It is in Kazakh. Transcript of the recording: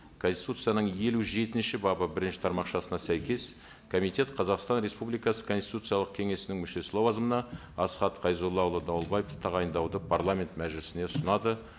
конституцияның елу жетінші бабы бірінші тармақшасына сәйкес комитет қазақстан республикасы конституциялық кеңесінің мүшесі лауазымына асхат қайзоллаұлы дауылбаевты тағайындауды парламент мәжілісіне ұсынады